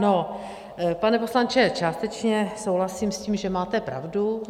No, pane poslanče, částečně souhlasím s tím, že máte pravdu.